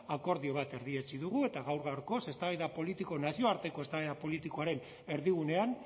akordio bat erdietsi dugu eta gaur gaurkoz eztabaida politiko nazioarteko eztabaida politikoaren erdigunean